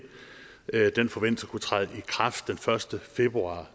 den forventes at kunne træde i kraft den første februar